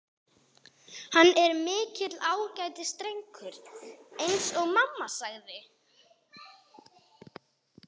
Hann er mikill ágætisdrengur- eins og mamma sagði.